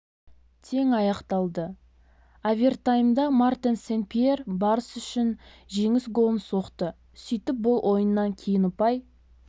тең аяқталды овертаймда мартен сен-пьер барыс үшін жеңіс голын соқты сөйтіп бұл ойыннан кейін ұпай